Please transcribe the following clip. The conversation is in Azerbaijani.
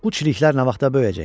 Bu çiliklər nə vaxta böyüyəcək?